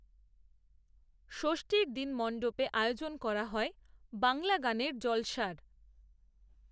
যষ্ঠীর দিন মণ্ডপে আয়োজন করা হয়, বাংলা গানের জলসার